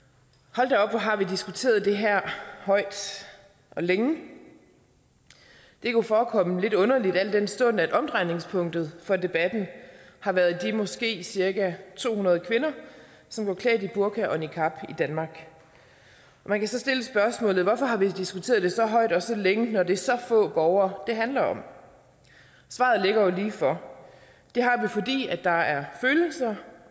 hold da op hvor har vi diskuteret det her højt og længe det kunne forekomme lidt underligt al den stund at omdrejningspunktet for debatten har været de måske cirka to hundrede kvinder som går klædt i burka og niqab i danmark man kan så stille spørgsmålet hvorfor har vi diskuteret det så højt og så længe når det er så få borgere det handler om svaret ligger jo lige for det har vi fordi der er følelser